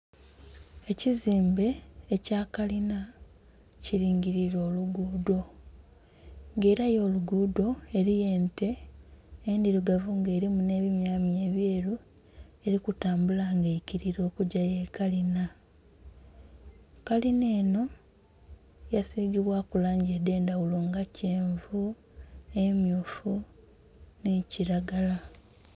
Ekizimbe ekya kalina kilingilire oluguudho nga ela y'oluguudho eliyo ente endhilugavu nga elimu nh'ebimyamya ebyeru eli kutambula nga eikilira okugya y'ekalina. Kalina enho yasigibwaku langi edh'endhaghulo nga kyenvu, emmyufu nhi kilagala.